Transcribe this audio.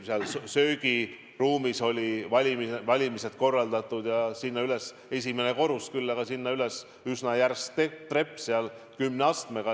Sealses söögiruumis olid valimised korraldatud ja sinna üles, esimene korrus küll, aga sinna üles viis üsna järsk trepp, kümne astmega.